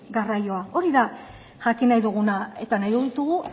garraioa hori da jakin nahi duguna eta nahi ditugu